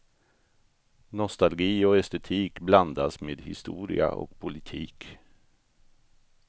Nostalgi och estetik blandas med historia och politik.